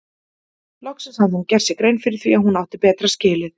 Loksins hafði hún gert sér grein fyrir því að hún átti betra skilið.